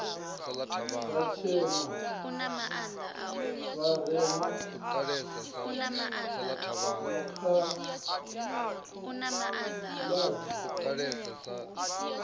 vhatshena vharema makha adi maindia